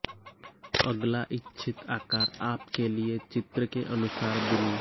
अगला इच्छित आकार आप के लिए चित्र के अनुसार बुनी